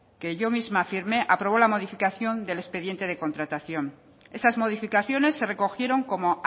que yo misma firmé aprobó la modificación del expediente de contratación esas modificaciones se recogieron como